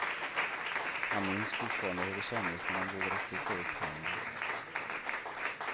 Han minns fortfarande hur det kändes när han vågade sticka upp handen.